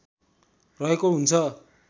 रहेको हुन्छ